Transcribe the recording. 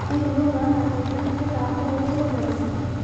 Hihi nĩ ũkwĩhoka atĩ iria nĩ rĩgaakorũo rĩrĩ theru?